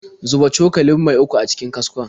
Zuba cokalin mai uku a cikin kaskon.